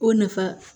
O nafa